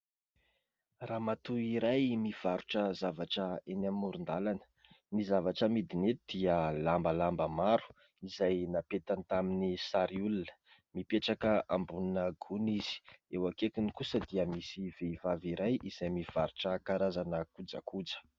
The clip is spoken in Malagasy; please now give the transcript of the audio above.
Ramatoa iray mivarotra zavatra eny amoron-dalana; ny zavatra amidiny eto dia lamba lamba maro; izay napetany tamin'ny sary olona; mipetraka ambonina gony izy. Eo akaikiny kosa dia misy vehivavy iray izay mivarotra karazana kojakoja.